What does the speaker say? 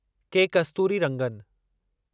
के कस्तूरिरंगन